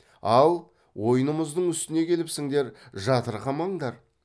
ал ойынымыздың үстіне келіпсіңдер жатырқамаңдар